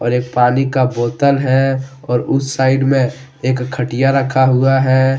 एक पानी का बोतल है और उस साइड में खटिया रखा हुआ है।